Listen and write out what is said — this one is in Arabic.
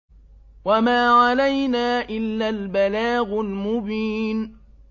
وَمَا عَلَيْنَا إِلَّا الْبَلَاغُ الْمُبِينُ